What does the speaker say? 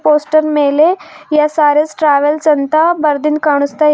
poster ಮೇಲೆ SRS travels ಅಂತ ಬರ್ದಿಂದ್ ಕಾಣುಸ್ತಾ ಇ --